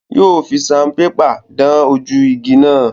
Yóò fi saunpépà dán ojú igi náà.